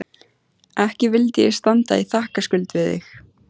Ekki vildi ég standa í þakkarskuld við þig